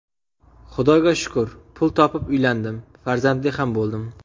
Xudoga shukur, pul topib uylandim, farzandli ham bo‘ldim.